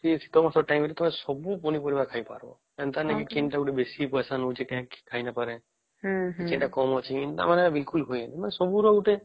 ଶୀତ ମାସେ ଟାଇମ ରେ ତମେ ସବୁ ପନି ପରିବା ଖାଇ ପରିବା ଏମିତି ନାଇଁ କି କେରେ ଗୋଟେ ବେଶୀ ପଇସା ନଉଚି ଖାଇ ନାଇଁ ପରେ ସେଟା କାମ ଚି ମାନେ ବିଲକୁଲ ହୁଏ ନି ମାନେ ସବୁ ର ଗୋଟେ